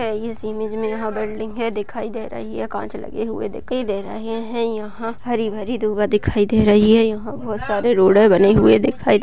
इस इमेज में यहाँ बिल्डिंगे दिखाई दे रही है कांच लगे हुए दिखाई दे रहे है यहाँ हरी- भरी दूर्वा दिखाई दे रही है यहाँ बहुत सारी रोडे बनी हुई दिखाई दे --